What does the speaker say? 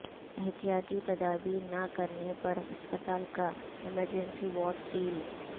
احتیاطی تدابیر نہ کرنے پر ہسپتال کا ایمرجینسی وارڈ سیل